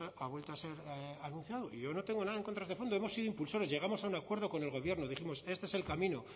ha vuelto a ser anunciado y yo no tengo nada en contra de este fondo hemos sido impulsores llegamos a un acuerdo con el gobierno dijimos este es el camino